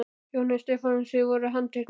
Jóhannes Stefánsson: Voruð þið handteknir?